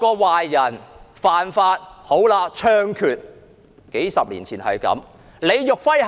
壞人犯法便要槍決，數十年前便是如此。